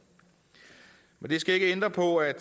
det skal ikke ændre på at